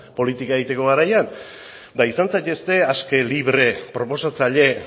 politika egiteko garaian eta izan zaitezte aske libre proposatzaile